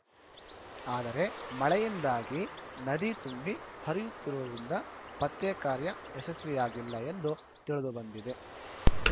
ಆದರೆ ಮಳೆಯಿಂದಾಗಿ ನದಿ ತುಂಬಿ ಹರಿಯುತ್ತಿರುವುದರಿಂದ ಪತ್ತೆಕಾರ್ಯ ಯಶಸ್ವಿಯಾಗಿಲ್ಲ ಎಂದು ತಿಳಿದು ಬಂದಿದೆ